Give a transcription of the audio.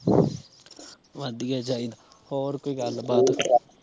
ਵਧੀਆ ਚਾਹੀਦਾ ਹੋਰ ਕੋਈ ਗੱਲ ਬਾਤ